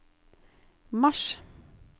mars